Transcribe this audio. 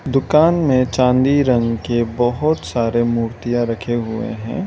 दुकान में चांदी रंग की बहुत सारे मूर्तियां रखे हुए हैं।